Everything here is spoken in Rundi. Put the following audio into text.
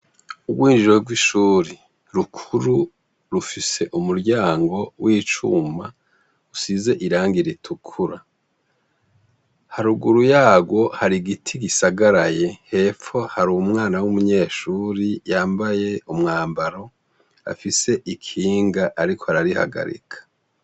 Urwinjiriro rw'ishuri rukuru rufise umuryango w'icuma usize irangi ritukura, haruguru yarwo hari igiti gisagaraye hepfo hari umwana w'umunyeshuri yambaye umwambaro afise ikinga ariko ararihagarika.